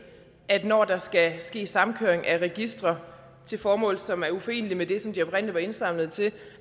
at når der skal ske samkøring af registre til formål som er uforenelige med det som de oprindelig var indsamlet til